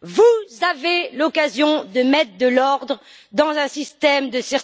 vous avez l'occasion de mettre de l'ordre dans un système de